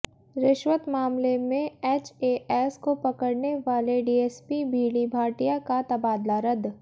रिश्वत मामले में एचएएस को पकड़ने वाले डीएसपी बीडी भाटिया का तबादला रद्द